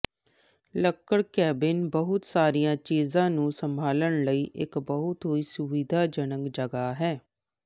ਲੱਕੜ ਕੈਬਿਨ ਬਹੁਤ ਸਾਰੀਆਂ ਚੀਜ਼ਾਂ ਨੂੰ ਸੰਭਾਲਣ ਲਈ ਇਕ ਬਹੁਤ ਹੀ ਸੁਵਿਧਾਜਨਕ ਜਗ੍ਹਾ ਹੈ